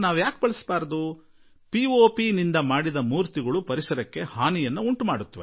plaster of Paris ನಿಂದ ಮಾಡಿದ ಮೂರ್ತಿಗಳು ಪರಿಸರಕ್ಕೆ ಅನುಕೂಲಕಾರಿಯಲ್ಲ ಎಂದಿದ್ದಾರೆ